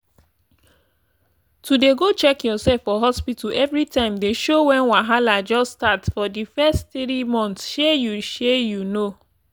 to dey go check yoursef for hospta everi time dey show wen wahala just start for di fess tiri months shey you shey you know